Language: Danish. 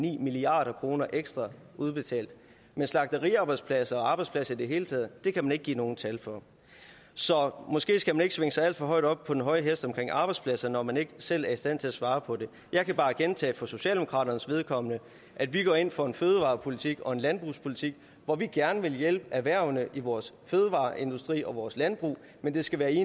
en en milliard kroner ekstra udbetalt men slagteriarbejdspladser og arbejdspladser i det hele taget kan man ikke give nogen tal for så måske skal man ikke svinge sig alt for meget op på den høje hest omkring det med arbejdspladser når man ikke selv er i stand til at svare på det jeg kan bare gentage for socialdemokraternes vedkommende at vi går ind for en fødevarepolitik og en landbrugspolitik hvor vi gerne vil hjælpe erhvervene i vores fødevareindustri og vores landbrug men det skal være i